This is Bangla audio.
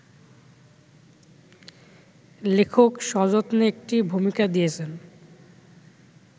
লেখক সযত্নে একটি ভূমিকা দিয়েছেন